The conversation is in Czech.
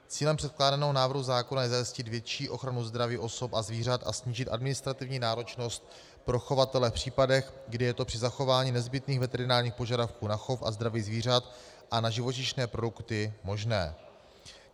Cílem předkládaného návrhu zákona je zajistit větší ochranu zdraví osob a zvířat a snížit administrativní náročnost pro chovatele v případech, kdy je to při zachování nezbytných veterinárních požadavků na chov a zdraví zvířat a na živočišné produkty možné.